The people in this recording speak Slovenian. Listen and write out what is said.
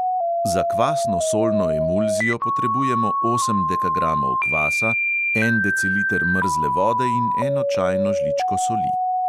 Za kvasno solno emulzijo potrebujemo osem dekagramov kvasa, en deciliter mrzle vode in eno čajno žličko soli.